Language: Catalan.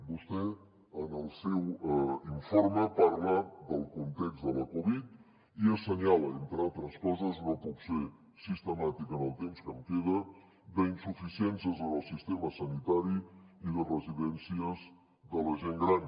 vostè en el seu informe parla del context de la covid i assenyala entre altres coses no puc ser sistemàtic en el temps que em queda insuficiències en el sistema sanitari i de residències de la gent gran